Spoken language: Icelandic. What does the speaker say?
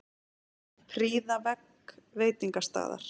Prýða vegg veitingastaðar